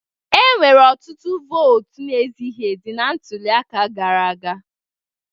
Enwere ọtụtụ votu na-ezighi ezi na ntuli aka gara aga